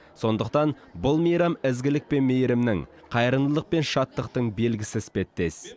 сондықтан бұл мейрам ізгілік пен мейірімнің қайырымдылық пен шаттықтың белгісі іспеттес